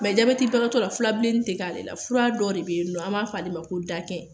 bagatɔ la filabilennin tɛ k'ale la fura dɔ de bɛ yen nɔ an b'a fɔ a ma ko